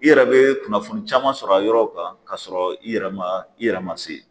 I yɛrɛ bɛ kunnafoni caman sɔrɔ a yɔrɔw kan ka sɔrɔ i yɛrɛ man i yɛrɛ man se ye.